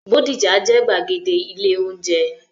Bódìjà jẹ́ gbàgede ilé-oúnjẹ.